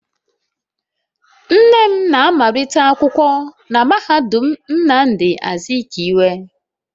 Nne m na-amalite akwụkwọ na mahadum Nnamdi Azikiwe